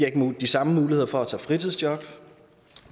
ikke de samme muligheder for at tage et fritidsjob